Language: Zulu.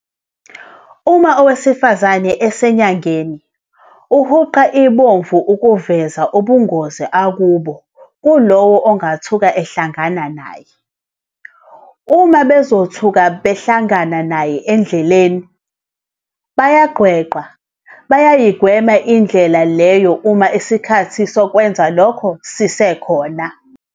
Uma owesifazane esenyangeni, uhuqa ibomvu ukuveza ubungozi akubona kulowo ongathuka ehlangana naye. Uma bezothuka behlangana naye endleleni, bayagqwegqwa, bayigweme indlela leyo uma isikhathi sokwenza lokho sisekhona.